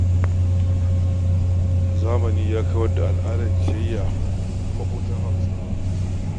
Zamani ya kawar da al’adar ciyayya a tsakanin maƙotan Hausawa.